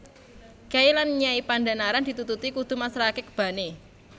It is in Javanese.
Kyai lan Nyai Pandhanaran ditututi kudu masrahake kebane